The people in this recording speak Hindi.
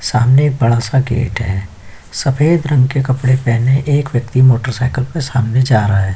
सामने एक बड़ा- सा गेट है सफ़ेद रंग के कपड़े पहने एक व्यक्ति मोटरसाइकिल पे सामने जा रहा है।